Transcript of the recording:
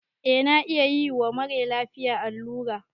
Eh na iya yiwa mara lafiya allura